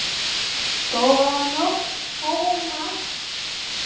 Góða nótt, Thomas